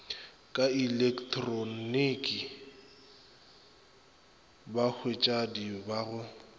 ka ilektroniki bathwadi ba go